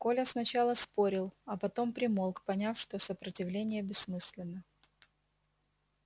коля сначала спорил а потом примолк поняв что сопротивление бессмысленно